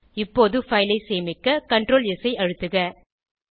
இப்போது பைல் ஐ சேமிக்க ctrls ஐ அழுத்துக